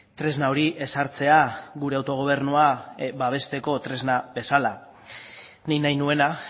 tresna hori ezartzea gure autogobernua babesteko tresna bezala nik nahi nuena